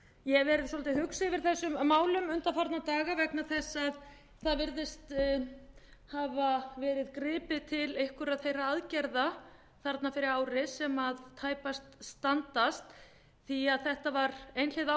ég hef verið svolítið hugsi yfir þessum málum undanfarna daga vegna þess að það virðist hafa verið gripið til einhverra þeirra aðgerða þarna fyrir ári sem tæpast standast því þetta var einhliða